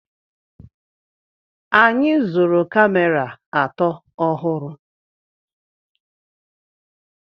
Anyị zụrụ kamera atọ ọhụrụ.